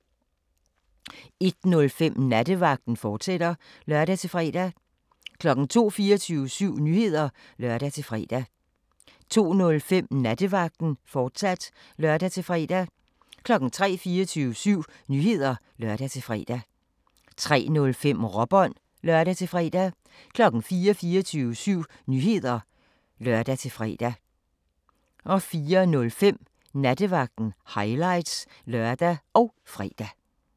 01:05: Nattevagten, fortsat (lør-fre) 02:00: 24syv Nyheder (lør-fre) 02:05: Nattevagten, fortsat (lør-fre) 03:00: 24syv Nyheder (lør-fre) 03:05: Råbånd (lør-fre) 04:00: 24syv Nyheder (lør-fre) 04:05: Nattevagten – highlights (lør og fre)